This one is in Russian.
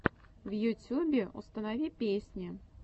в ютюбе установи песни